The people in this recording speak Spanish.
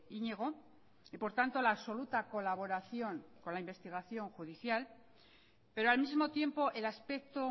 iñigo y por tanto la absoluta colaboración con la investigación judicial pero al mismo tiempo el aspecto